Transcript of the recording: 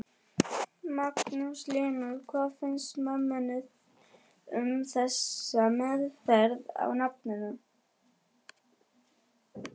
Magnús Hlynur: Hvað finnst mömmunni um þessa meðferð á nafninu?